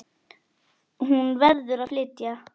Hún verður að flytja.